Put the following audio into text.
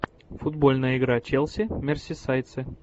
футбольная игра челси мерсисайдцы